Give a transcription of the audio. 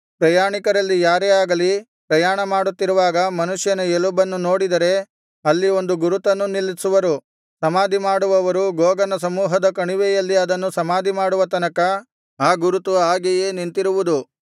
ಪ್ರಯಾಣಿಕರಲ್ಲಿ ಯಾರೇ ಆಗಲಿ ಪ್ರಯಾಣ ಮಾಡುತ್ತಿರುವಾಗ ಮನುಷ್ಯನ ಎಲುಬನ್ನು ನೋಡಿದರೆ ಅಲ್ಲಿ ಒಂದು ಗುರುತನ್ನು ನಿಲ್ಲಿಸುವರು ಸಮಾಧಿ ಮಾಡುವವರು ಗೋಗನ ಸಮೂಹದ ಕಣಿವೆಯಲ್ಲಿ ಅದನ್ನು ಸಮಾಧಿ ಮಾಡುವ ತನಕ ಆ ಗುರುತು ಹಾಗೆಯೇ ನಿಂತಿರುವುದು